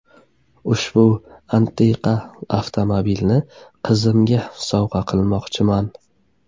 Ushbu antiqa avtomobilni qizimga sovg‘a qilmoqchiman.